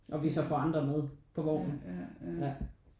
Og vi så får andre med på vognen ja